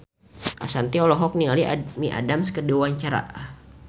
Ashanti olohok ningali Amy Adams keur diwawancara